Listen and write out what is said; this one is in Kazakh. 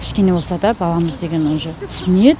кішкене болса да баламыз деген уже түсінеді